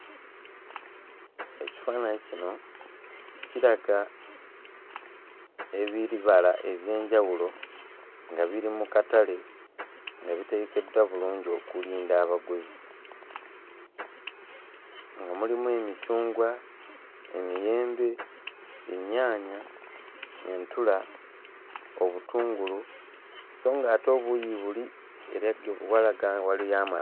Ekifaananyi kino kiraga ebibala eby'enjawulo nga biri mu katale nga bitegekeddwa bulungi okulinda abaguzi nga mulimu emicungwa, emiyembe, ennyaanya, entula, obutungulu sso nga ate obuuyi buli era ge walaga waliyo ama.